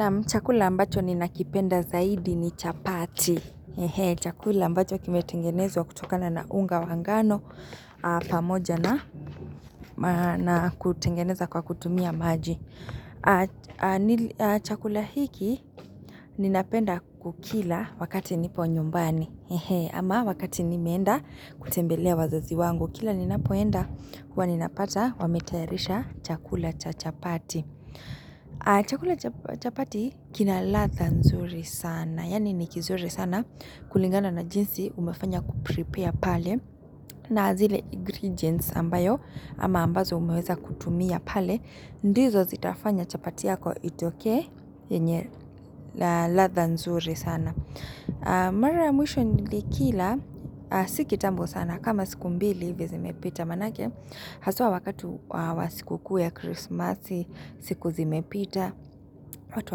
Naam chakula ambacho ninakipenda zaidi ni chapati eeeehee. Chakula ambacho kimetengenezwa kutokana na unga wa ngano aaaa pamoja na maa na kutengeneza kwa kutumia maji. Chakula hiki ninapenda kukila wakati nipo nyumbani eehee. Ama wakati nimeenda kutembelea wazazi wangu. Kila ninapoenda huwa ninapata wametayarisha chakula cha chapati. Chakula cha pp chapati kina ladha nzuri sana. Yani niki zuri sana kulingana na jinsi umefanya kuprepare pale na zile ingrediets ambayo ama ambazo umeweza kutumia pale ndizo zitafanya chapati yako itokee yenye aaa ladha nzuri sana Mara ya mwisho nilikila si kitambo sana kama siku mbili hivi zimepita manake Haswa wakati wa siku kuu ya krismasi, siku zimepita, watu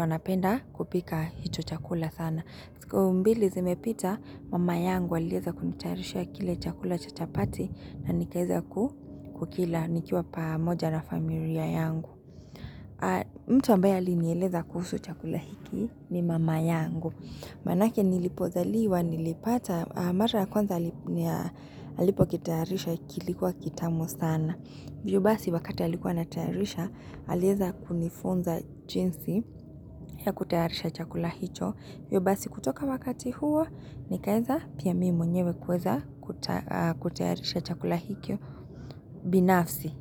wanapenda kupika hicho chakula sana. Siku mbili zimepita, mama yangu alieza kunitayarishia kile chakula cha chapati na nikaeza ku kila nikiwa pamoja na familia yangu. Mtu ambaye alinieleza kuhusu chakula hiki ni mama yangu. Manake nilipozaliwa, nilipata, mara kwanza ni ya alipo kitayarisha kilikuwa kitamu sana. Yubasi wakati alikuwa anatayarisha, alieza kunifunza jinsi ya kutayarisha chakula hicho. Yubasi kutoka wakati huo, nikaeza pia mimi mwenyewe kweza aaa kutayarisha chakula hikyo binafsi.